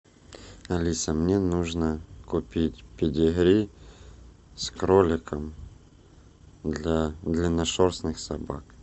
алиса мне нужно купить педигри с кроликом для длинношерстных собак